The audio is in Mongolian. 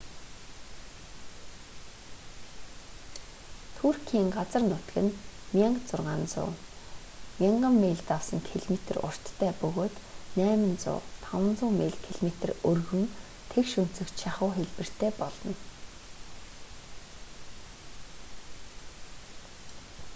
түркийн газар нутаг нь 1600 1000 мил давсан км уртта бөгөөд 800500 мил км өргөн тэгш өнцөгт шахуу хэлбэртэй болно